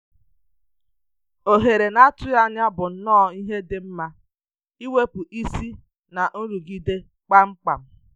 Ohere n’atụghị ànyà bụ nnọọ ihe dị mma iwepụ isi n’nrụgide kpamkpam.